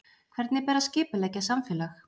Hvernig ber að skipuleggja samfélag?